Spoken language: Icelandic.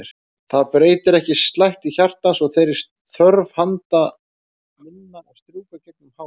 Það breytir ekki slætti hjartans og þeirri þörf handa minna að strjúka gegnum hár hans.